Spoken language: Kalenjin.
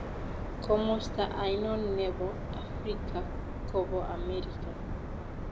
Komosta ainon ne po africa ko po amerika